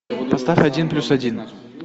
поставь один плюс один